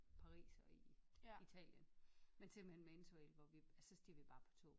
Pars og i Italien men simpelthen med interrail hvor vi og så steg vi bare på toget